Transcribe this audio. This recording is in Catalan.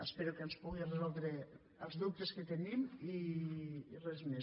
espero que ens pugui resoldre els dubtes que tenim i res més